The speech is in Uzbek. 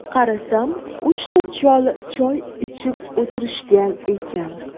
Qarasam, uchta chol choy ichib o‘tirishgan ekan.